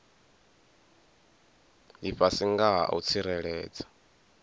lifhasi nga ha u tsireledza